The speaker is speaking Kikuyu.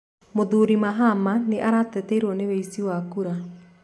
Mũthuri Mahama nĩ aratetirio ni wĩici wa kura